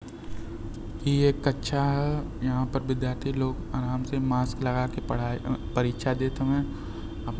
ये कक्षा हयहाँ पर विद्यार्थी लोगआराम से मास्क लगाके पढ़ाई-ऐ-परीक्षा देत हउएं --